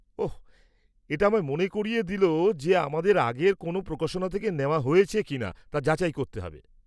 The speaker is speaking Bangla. ওহ্! এটা আমায় মনে করিয়ে দিল যে আমাদের আগের কোনও প্রকাশনা থেকে নেওয়া হয়েছে কিনা তা যাচাই করতে হবে।